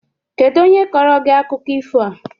Kedụ onye kọọrọ gị akụkọ ifo a?